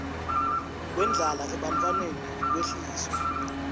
kwendlala ebantfwaneni kwehliswe